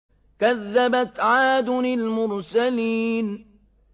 كَذَّبَتْ عَادٌ الْمُرْسَلِينَ